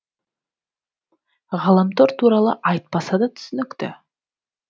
ғаламтор туралы айтпаса да түсінікті